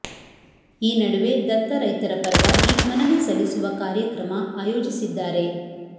ಈ ನಡುವೆ ದತ್ತ ರೈತರ ಪರವಾಗಿ ಮನವಿ ಸಲ್ಲಿಸುವ ಕಾರ್ಯ ಕ್ರಮ ಆಯೋಜಿಸಿದ್ದಾರೆ